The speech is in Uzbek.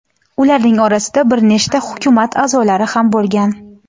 Ularning orasida bir nechta hukumat a’zolari ham bo‘lgan.